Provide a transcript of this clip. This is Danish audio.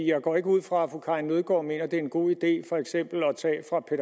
jeg går ikke ud fra at fru karin nødgaard mener det er en god idé for eksempel